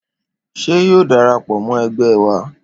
Ṣé yóò darapọ̀ mọ ẹgbẹ wa?